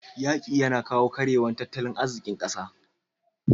yaƙi yAna kawo karyewar tattalin azikin ƙasa